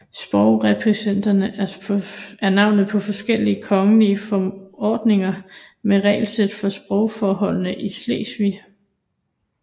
Sprogreskripterne er navnet på forskellige kongelige forordninger med regelsæt for sprogforholdene i Slesvig